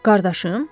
Qardaşım?